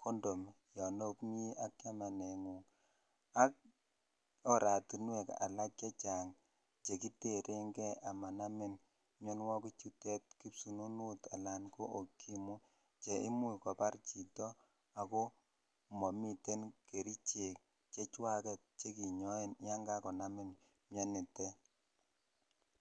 condom yaan omii ak chameneet nguung, ak oratinweek alak chechang chegiterengee amanamin myonwogiik chuteet kipsusunuut anan ko okimwi cheimuch kobaar chito agoo momiten kericheek chechwageet cheginyoen yaa kagonamin myoniteet.